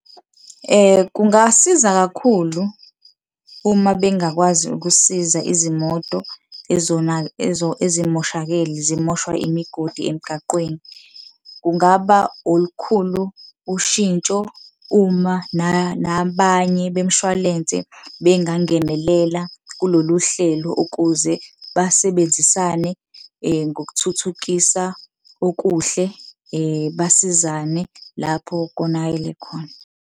Kungasiza kakhulu, uma bengakwazi ukusiza izimoto ezimoshakele zimoshwa imigodi emgaqweni. Kungaba olukhulu ushintsho uma nabanye bemishwalense bengangenelela kulolu hlelo ukuze basebenzisane ngokuthuthukisa okuhle, basizane lapho konakele khona.